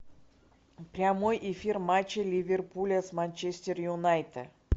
прямой эфир матча ливерпуля с манчестер юнайтед